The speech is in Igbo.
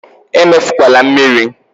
Emefukwala mmiri!